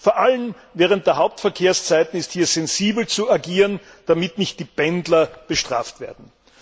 Vor allem während der Hauptverkehrszeiten ist hier sensibel zu agieren, damit nicht die Pendler bestraft werden.